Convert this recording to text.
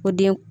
O den